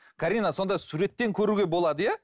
карина сонда суреттен көруге болады иә